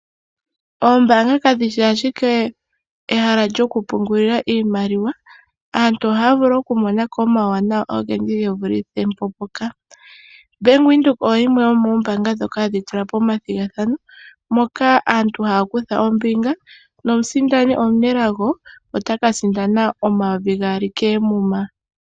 Oombanga kadhi shi ashike ehala lyoku pungulila iimaliwa, aantu ohaya vulu oku monako omawuwanawa ogendji ge vulithe po mpoka. Bank Windhoek oyo yimwe yomoombanga dhoka hadhi tula po omathigathano. Moka aantu haya kutha ombinga, nomusindani omunelago otaka sindana omayovi gaali koomuma.